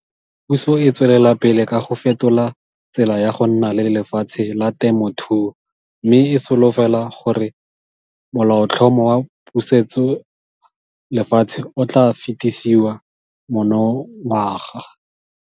Puso e tswelela pele ka go fetola tsela ya go nna le lefatshe la temothuo mme e solofela gore Molaotlhomo wa Pusetsolefatshe o tla fetisiwa monongwaga.